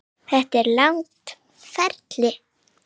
Þetta er langt ferli.